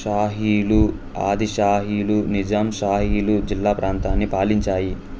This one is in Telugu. షాహీలు ఆది షాహీలు నిజాం షాహీలు జిల్లా ప్రాంతాన్ని పాలించాయి